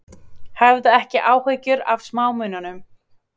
Hafðu ekki áhyggjur af smámunum.